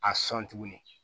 A sɔn tuguni